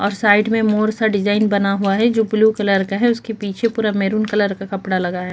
और साइड में मोर सा डिजाईन बना हुआ है जो ब्लू कलर का है उसके पीछे पूरा मेहरून कलर का कपड़ा लगा है। .